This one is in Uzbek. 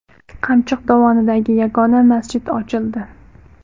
Qamchiq dovonidagi yagona masjid ochildi.